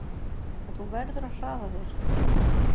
En þú verður að hraða þér!